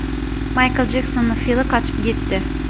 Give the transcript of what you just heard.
Maykl Jeksonning fili qochib ketdi.